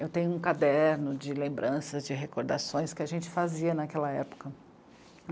Eu tenho um caderno de lembranças, de recordações que a gente fazia naquela época.